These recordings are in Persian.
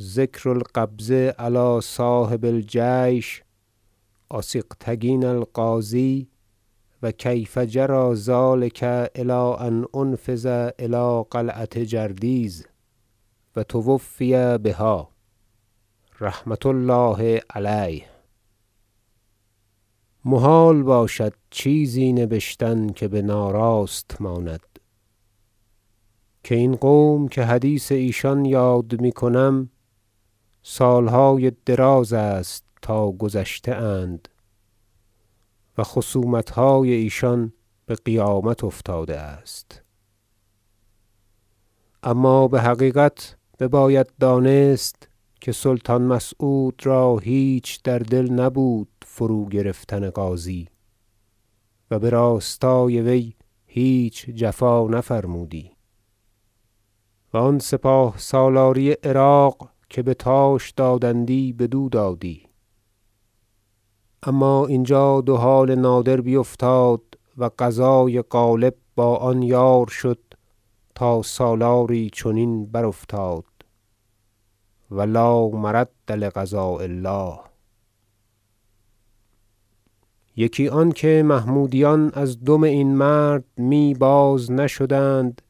ذکر القبض علی صاحب الجیش آسیغکتین الغازی و کیف جری ذلک الی ان انفذ الی قلعة جردیز و توفی بها رحمة الله علیه محال باشد چیزی نبشتن که بناراست ماند که این قوم که حدیث ایشان یاد می کنم سالهای دراز است تا گذشته اند و خصومتهای ایشان بقیامت افتاده است اما بحقیقت بباید دانست که سلطان مسعود را هیچ در دل نبود فروگرفتن غازی و براستای وی هیچ جفا نفرمودی و آن سپاه سالاری عراق که به تاش دادند بدو دادی اما اینجا دو حال نادر بیفتاد و قضای غالب با آن یار شد تا سالاری چنین برافتاد و لا مرد لقضاء الله یکی آنکه محمودیان از دم این مرد می باز نشدند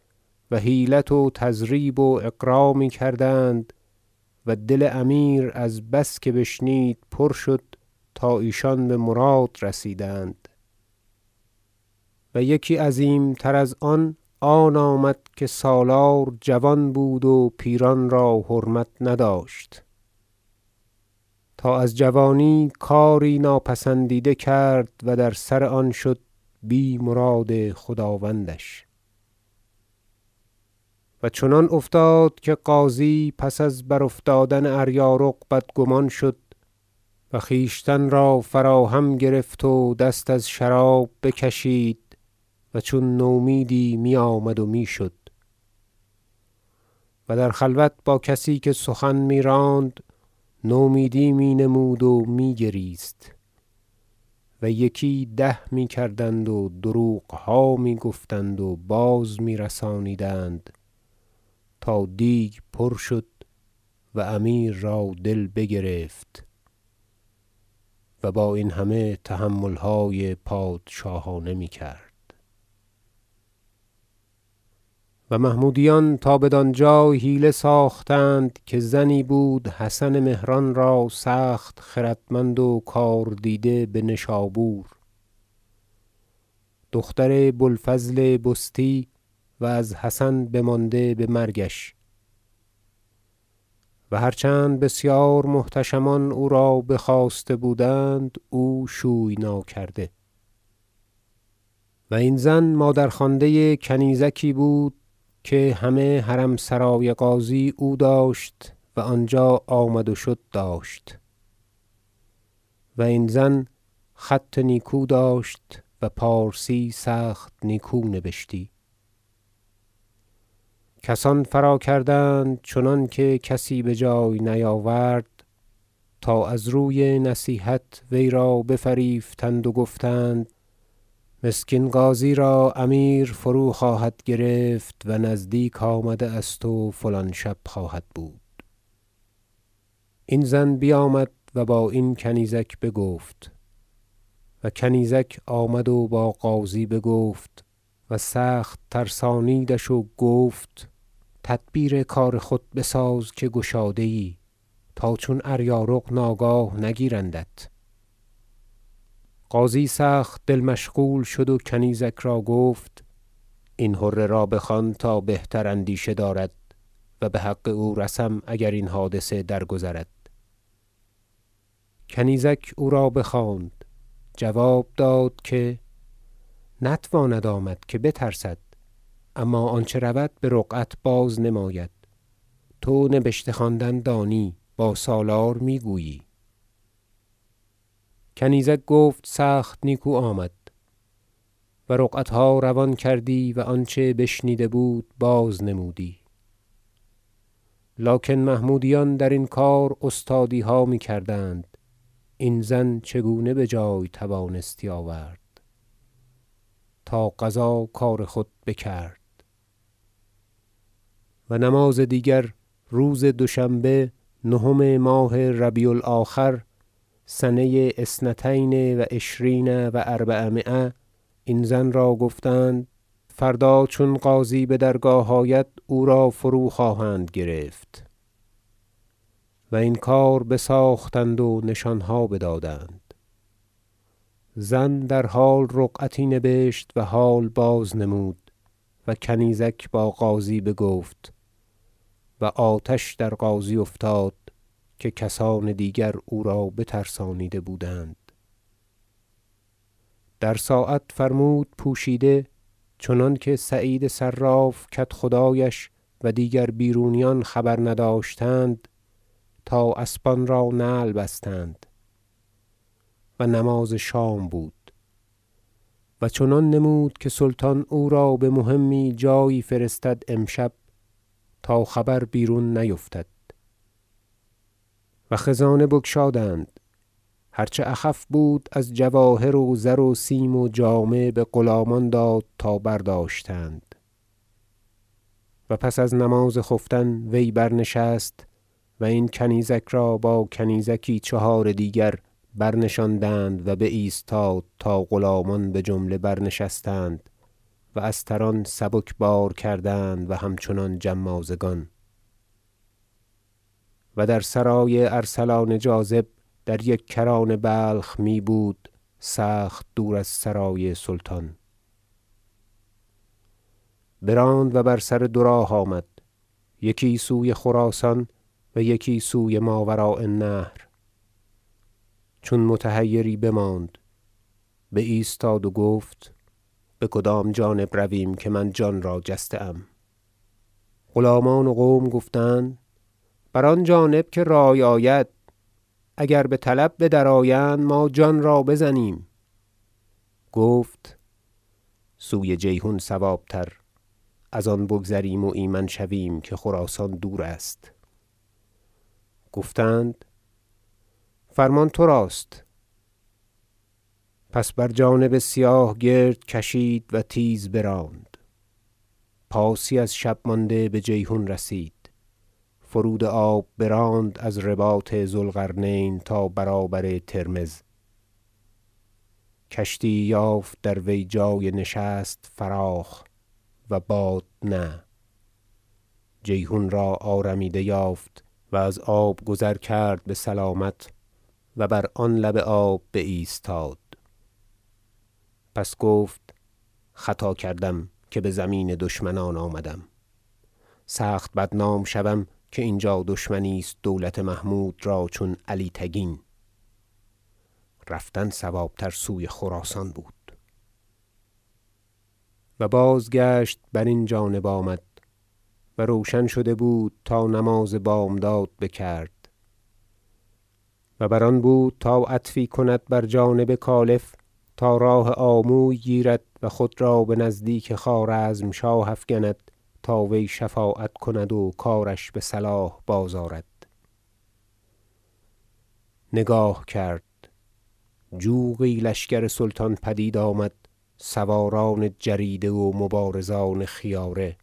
و حیلت و تضریب و اغرا میکردند و دل امیر از بس که بشنید پر شد تا ایشان بمراد رسیدند و یکی عظیم تر از آن آمد که سالار جوان بود و پیران را حرمت نداشت تا از جوانی کاری ناپسندیده کرد و در سر آن شد بی مراد خداوندش و چنان افتاد که غازی پس از برافتادن اریارق بدگمان شد و خویشتن را فراهم گرفت و دست از شراب بکشید و چون نومیدی می آمد و می شد و در خلوت با کسی که سخن می راند نومیدی می نمود و می گریست و یکی ده می کردند و دروغها می گفتند و باز میرسانیدند تا دیگ پر شد و امیر را دل بگرفت و با این همه تحملهای پادشاهانه میکرد و محمودیان تا بدان جای حیله ساختند که زنی بود حسن مهران را سخت خردمند و کار دیده بنشابور دختر بو الفضل بستی و از حسن بمانده بمرگش و هرچند بسیار محتشمان او را بخواسته بودند او شوی ناکرده و این زن مادرخوانده کنیزکی بود که همه حرم سرای غازی او داشت و آنجا آمد و شد داشت و این زن خط نیکو داشت و پارسی سخت نیکو نبشتی کسان فراکردند چنانکه کسی بجای نیاورد تا از روی نصیحت وی را بفریفتند و گفتند مسکین غازی را امیر فروخواهد گرفت و نزدیک آمده است و فلان شب خواهد بود این زن بیامد و با این کنیزک بگفت و کنیزک آمد و با غازی بگفت و سخت ترسانیدش و گفت تدبیر کار خود بساز که گشاده ای تا چون اریارق ناگاه نگیرندت غازی سخت دل مشغول شد و کنیزک را گفت این حره را بخوان تا بهتر اندیشه دارد و بحق او رسم اگر این حادثه درگذرد کنیزک او را بخواند جواب داد که نتواند آمد که بترسد اما آنچه رود برقعت بازنماید تو نبشته خواندن دانی با سالار میگویی کنیزک گفت سخت نیکو آمد و رقعتها روان کردی و آنچه بشنیده بود بازنمودی لکن محمودیان درین کار استادیها میکردند این زن چگونه بجای توانستی آورد تا قضا کار خود بکرد و نماز دیگر روز دوشنبه نهم ماه ربیع الاخر سنه اثنتین و عشرین و اربعمایه این زن را گفتند فردا چون غازی بدرگاه آید او را فروخواهند گرفت و این کار بساختند و نشانها بدادند زن در حال رقعتی نبشت و حال بازنمود و کنیزک با غازی بگفت و آتش در غازی افتاد که کسان دیگر او را بترسانیده بودند در ساعت فرمود پوشیده چنانکه سعید صراف کدخدایش و دیگر بیرونیان خبر نداشتند تا اسبان را نعل بستند و نماز شام بود و چنان نمود که سلطان او را بمهمی جایی فرستد امشب تا خبر بیرون نیفتد و خزانه بگشادند هرچه اخف بود از جواهر و زروسیم و جامه بغلامان داد تا برداشتند و پس از نماز خفتن وی برنشست و این کنیزک را با کنیزکی چهار دیگر برنشاندند و بایستاد تا غلامان بجمله برنشستند و استران سبک بار کردند و همچنان جمازگان- و در سرای ارسلان جاذب در یک کران بلخ می بود سخت دور از سرای سلطان - براند و بر سر دو راه آمد یکی سوی خراسان یکی سوی ماوراء- النهر چون متحیری بماند بایستاد و گفت بکدام جانب رویم که من جانرا جسته ام غلامان و قوم گفتند بر آن جانب که رأی آید اگر بطلب بدرآیند ما جان را بزنیم گفت سوی جیحون صواب تر ازان بگذریم و ایمن شویم که خراسان دور است گفتند فرمان تر است پس بر جانب سیاه گرد کشید و تیز براند پاسی از شب مانده بجیحون رسید فرود آب براند از رباط ذو القرنین تا برابر ترمذ کشتی یی یافت در وی جای نشست فراخ و بادنه جیحون را آرمیده یافت و از آب گذر کرد بسلامت و بر آن لب آب بایستاد پس گفت خطا کردم که بزمین دشمنان آمدم سخت بدنام شوم که اینجا دشمنی است دولت محمود را چون علی تگین رفتن صوابتر سوی خراسان بود و بازگشت برین جانب آمد و روشن شده بود تا نماز بامداد بکرد و بر آن بود تا عطفی کند بر جانب کالف تا راه آموی گیرد و خود را بنزدیک خوارزم- شاه افکند تا وی شفاعت کند و کارش بصلاح بازآرد نگاه کرد جوقی لشکر سلطان پدید آمد سواران جریده و مبارزان خیاره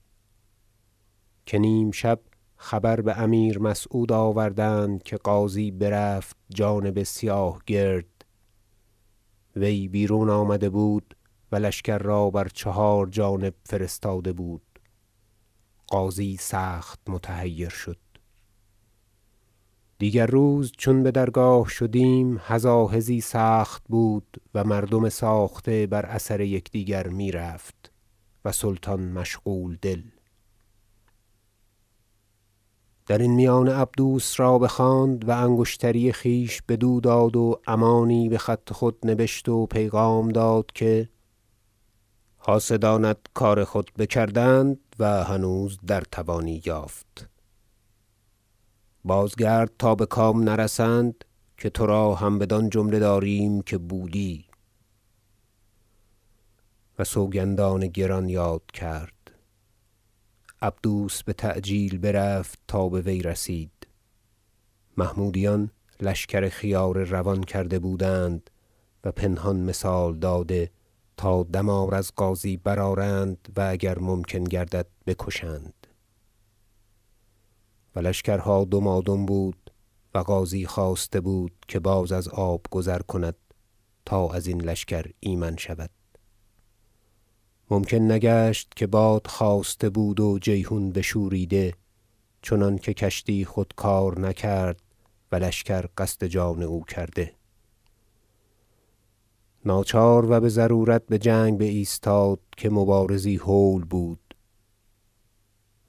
که نیم شب خبر بامیر مسعود آوردند که غازی برفت جانب سیاه گرد وی بیرون آمده بود و لشکر را بر چهار جانب فرستاده بود غازی سخت متحیر شد دیگر روز چون بدرگاه شدیم هزاهزی سخت بود و مردم ساخته بر اثر یکدیگر می رفت و سلطان مشغول دل درین میانه عبدوس را بخواند و انگشتری خویش بدو داد و امانی بخط خود نبشت و پیغام داد که حاسدانت کار خود بکردند و هنوز در توانی یافت بازگرد تا بکام نرسند که تراهم بدان جمله داریم که بودی و سوگندان گران یاد کرد عبدوس بتعجیل برفت تا بوی رسید محمودیان لشکر خیاره روان کرده بودند و پنهان مثال داده تا دمار از غازی برآرند و اگر ممکن گردد بکشند و لشکرها دمادم بود و غازی خواسته بود که باز از آب گذر کند تا ازین لشکر ایمن شود ممکن نگشت که باد خاسته بود و جیحون بشوریده چنانکه کشتی خود کار نکرد و لشکر قصد جان او کرده ناچار و بضرورت بجنگ بایستاد که مبارزی هول بود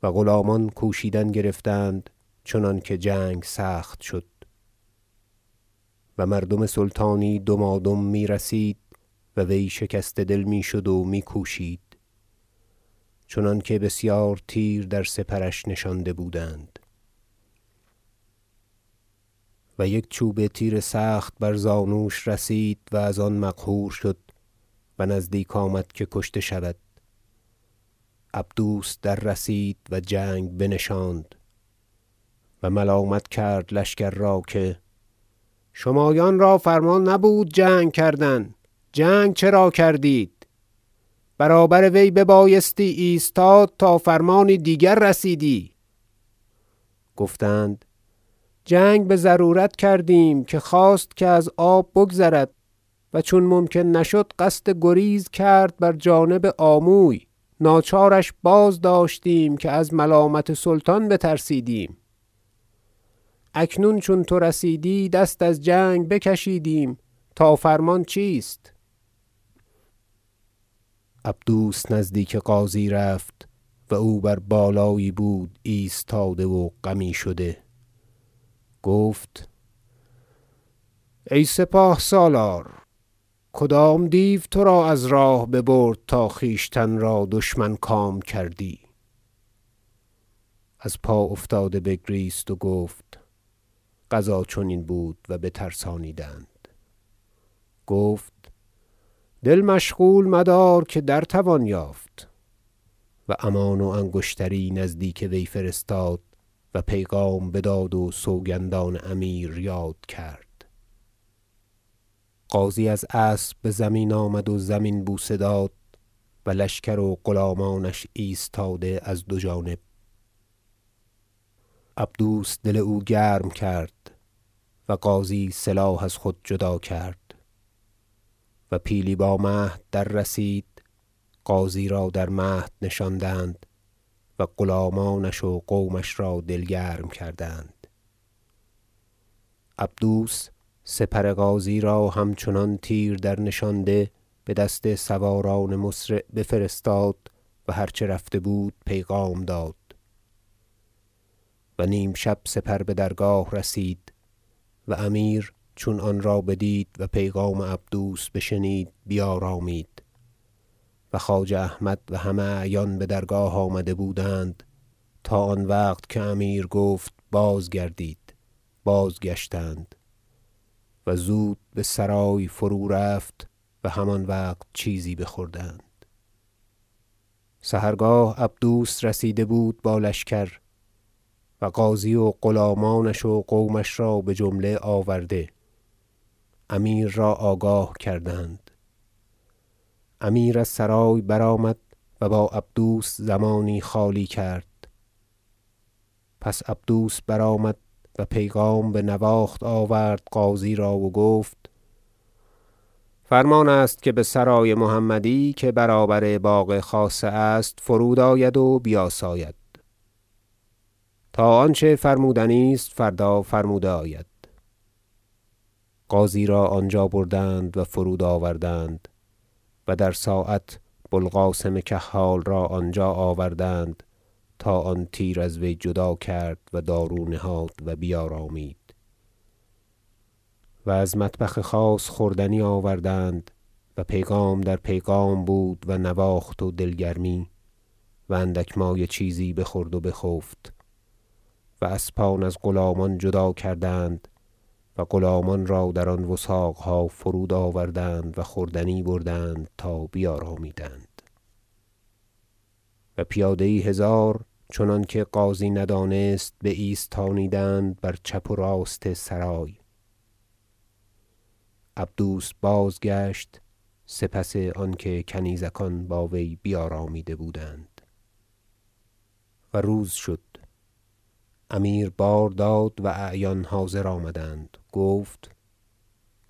و غلامان کوشیدن گرفتند چنانکه جنگ سخت شد و مردم سلطانی دمادم میرسید و وی شکسته دل می شد و می کوشید چنانکه بسیار تیر در سپرش نشانده بودند و یک چوبه تیر سخت بر زانوش رسید و از آن مقهور شد و نزدیک آمد که کشته شود عبدوس دررسید و جنگ بنشاند و ملامت کرد لشکر را که شمایان را فرمان نبود جنگ کردن جنگ چرا کردید برابر وی ببایستی ایستاد تا فرمانی دیگر رسیدی گفتند جنگ بضرورت کردیم که خواست که از آب بگذرد و چون ممکن نشد قصد گریز کرد بر جانب آموی ناچارش بازداشتیم که از ملامت سلطان بترسیدیم اکنون چون تو رسیدی دست از جنگ بکشیدیم تا فرمان چیست عبدوس نزدیک غازی رفت و او بر بالایی بود ایستاده و غمی شده گفت ای سپاه سالار کدام دیو ترا از راه ببرد تا خویشتن را دشمن کام کردی ازپافتاده بگریست و گفت قضا چنین بود و بترسانیدند گفت دل مشغول مدار که درتوان یافت و امان و انگشتری نزدیک وی فرستاد و پیغام بداد و سوگندان امیر یاد کرد غازی از اسب بزمین آمد و زمین بوسه داد و لشکر و غلامانش ایستاده از دو جانب عبدوس دل او گرم کرد و غازی سلاح از خود جدا کرد و پیلی با مهد دررسید غازی را در مهد نشاندند و غلامانش و قومش را دل گرم کردند عبدوس سپر غازی را همچنان تیر درنشانده بدست سواران مسرع بفرستاد و هرچه رفته بود پیغام داد و نیم شب سپر بدرگاه رسید و امیر چون آن را بدید و پیغام عبدوس بشنید بیارامید و خواجه احمد و همه اعیان بدرگاه آمده بودند تا آن وقت که امیر گفت بازگردید بازگشتند و زود بسرای فرورفت و همان وقت چیزی بخوردند سحرگاه عبدوس رسیده بود با لشکر و غازی و غلامانش و قومش را بجمله آورده امیر را آگاه کردند امیر از سرای برآمد و با عبدوس زمانی خالی کرد پس عبدوس برآمد و پیغام بنواخت آورد غازی را و گفت فرمان است که بسرای محمدی که برابر باغ خاصه است فرود آید و بیاساید تا آنچه فرمودنی است فردا فرموده آید غازی را آنجا بردند و فرود آوردند و در ساعت بو القاسم کحال را آنجا آوردند تا آن تیر از وی جدا کرد و دارو نهاد و بیارامید و از مطبخ خاص خوردنی آوردند و پیغام در پیغام بود و نواخت و دل گرمی و اندک مایه چیزی بخورد و بخفت و اسبان از غلامان جدا کردند و غلامان را در آن وثاقها فرود آوردند و خوردنی بردند تا بیارامیدند و پیاده یی هزار چنانکه غازی ندانست بایستانیدند بر چپ و راست سرای عبدوس بازگشت سپس آنکه کنیزکان با وی بیارامیده بودند و روز شد امیر بار داد و اعیان حاضر آمدند گفت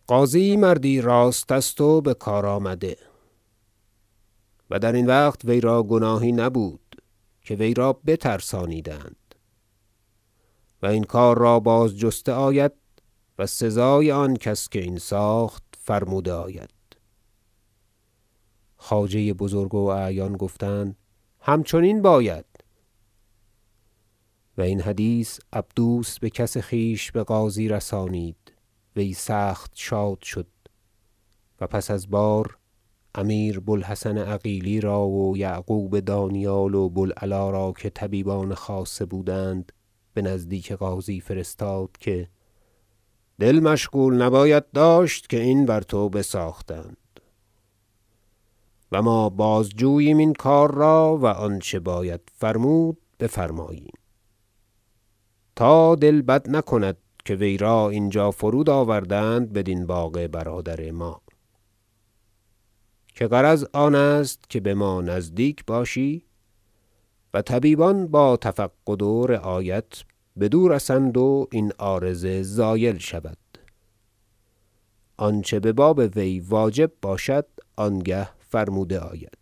غازی مردی راست است و بکار آمده و درین وقت وی را گناهی نبود که وی را بترسانیدند و این کار را باز جسته آید و سزای آن کس که این ساخت فرموده آید خواجه بزرگ و اعیان گفتند همچنین باید و این حدیث عبدوس بکس خویش بغازی رسانید وی سخت شاد شد و پس از بار امیر بو الحسن عقیلی را و یعقوب دانیال و بو العلا را که طبیبان خاصه بودند بنزدیک غازی فرستاد که دل مشغول نباید داشت که این بر تو بساختند و ما بازجوییم این کار را و آنچه باید فرمود بفرماییم تا دل بد نکند که وی را اینجا فرود آوردند بدین باغ برادر ما که غرض آنست که بما نزدیک باشی و طبیبان با تفقد و رعایت بدو رسند و این عارضه زایل شود آنچه بباب وی واجب باشد آنگه فرموده آید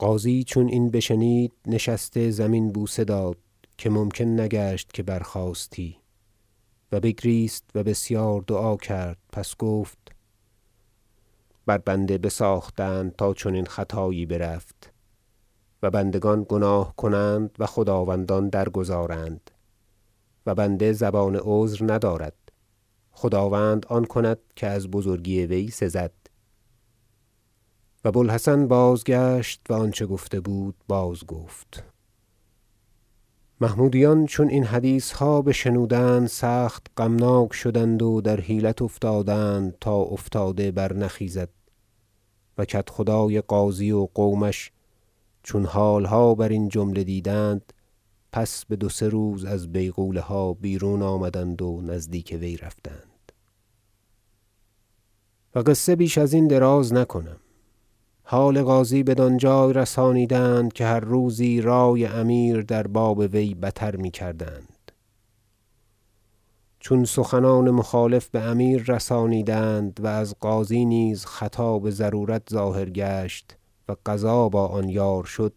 غازی چون این بشنید نشسته زمین بوسه داد- که ممکن نگشت که برخاستی - و بگریست و بسیار دعا کرد پس گفت بر بنده بساختند تا چنین خطایی برفت و بندگان گناه کنند و خداوندان درگذارند و بنده زبان عذر ندارد و خداوند آن کند که از بزرگی وی سزد و بو الحسن بازگشت و آنچه گفته بود باز گفت محمودیان چون این حدیثها بشنودند سخت غمناک شدند و در حیلت افتادند تا افتاده برنخیزد و کدخدای غازی و قومش چون حالها برین جمله دیدند پس بدوسه روز از بیغوله ها بیرون آمدند و نزدیک وی رفتند و قصه بیش ازین دراز نکنم حال غازی بدان جای رسانیدند که هر روزی رأی امیر در باب وی بتر میکردند چون سخنان مخالف بامیر رسانیدند و از غازی نیز خطا بضرورت ظاهر گشت و قضا با آن یار شد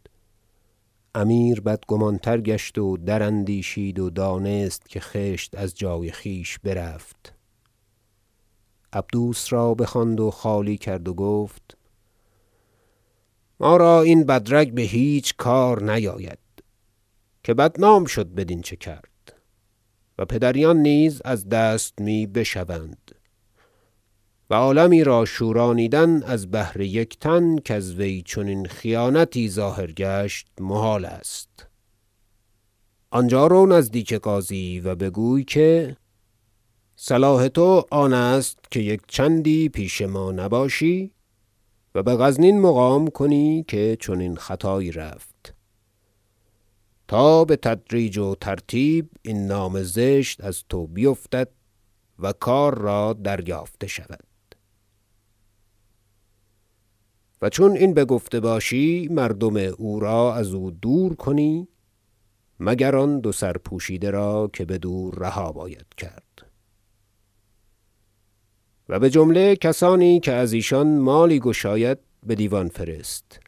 امیر بدگمان تر گشت و دراندیشید و دانست که خشت از جای خویش برفت عبدوس را بخواند و خالی کرد و گفت ما را این بدرگ بهیچ کار نیاید که بدنام شد بدین چه کرد و پدریان نیز از دست می بشوند و عالمی را شورانیدن از بهر یک تن کزوی چنین خیانتی ظاهر گشت محال است آنجا رو نزدیک غازی و بگوی که صلاح تو آن است که یک چندی پیش ما نباشی و بغزنین مقام کنی که چنین خطایی رفت تا بتدریج و ترتیب این نام زشت از تو بیفتد و کار را دریافته شود و چون این بگفته باشی مردم او را ازو دور کنی مگر آن دو سرپوشیده را که بدورها باید کرد و بجمله کسانی که از ایشان مالی گشاید بدیوان فرست